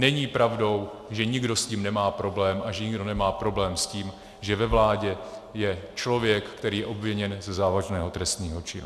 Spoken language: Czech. Není pravdou, že nikdo s tím nemá problém a že nikdo nemá problém s tím, že ve vládě je člověk, který je obviněn ze závažného trestného činu.